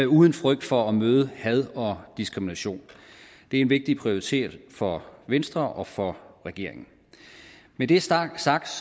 uden frygt for at møde had og diskrimination det er en vigtig prioritering for venstre og for regeringen når det er sagt sagt